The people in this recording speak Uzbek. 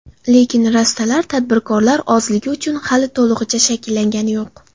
Lekin rastalar tadbirkorlar ozligi uchun hali to‘lig‘icha shakllangani yo‘q.